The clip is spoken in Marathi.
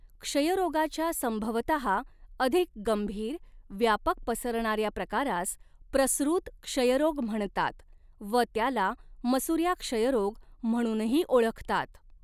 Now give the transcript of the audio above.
क्षयरोगाच्या संभवतः अधिक गंभीर, व्यापक पसरणाऱ्या प्रकारास 'प्रसृत क्षयरोग' म्हणतात व त्याला 'मसुऱ्या क्षयरोग' म्हणूनही ओळखतात.